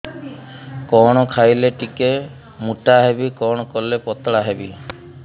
କଣ ଖାଇଲେ ଟିକେ ମୁଟା ହେବି କଣ କଲେ ପତଳା ହେବି